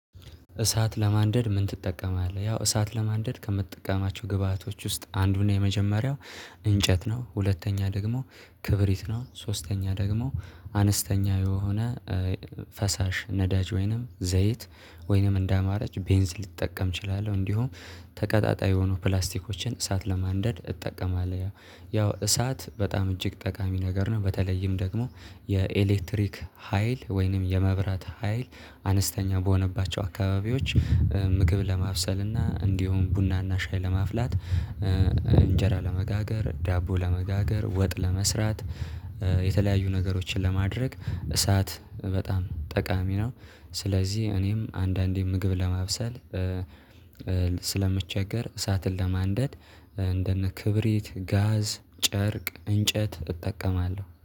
እሳት ለማንደድ ምን? ትጠቀማለህ ያው እሳት ለማንደድ ከምትጠቀማቸው ግብአቶች ውስጥ አንዱን የመጀመሪያው እንጨት ነው። ሁለተኛ ደግሞ ክብሪት ነው። ሶስተኛ ደግሞ አነስተኛ የሆነ ፈሳሽ ነዳጅ ወይንም ዘይት ወይንም እንደ አማራጭ ቤንዝል ልጠቀም እችላለሁ። እንዲሁም ተቀጣጣይ የሆኑ ፕላስቲኮችን እሳት ለማንደድ እጠቀማለሁ። ያው እሳት በጣም እጅግ ጠቃሚ ነገር ነው በተለይም ደግሞ የኤሌክትሪክ ሀይል ወይንም የመብራት ሀይል አነስተኛ በሆነባቸው አካባቢዎች ምግብ ለማብሰል እና እንዲሁም ቡና እና ሻይ ለማፍላት። እንጀራ ለመጋገር ዳቦ ለመጋገር ወጥ ለመስራት የተለያዩ ነገሮችን ለማድረግ እሳት በጣም ጠቃሚ ነው። ስለዚህ እኔም አንዳንዴ ምግብ ለማብሰል ስለምቸገር እሳትን ለማንደድ እንደነ ክብሪት ጋዝ ጨርቅ እንጨት እጠቀማለሁ